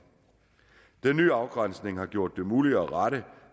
den nye afgrænsning har gjort det muligt at rette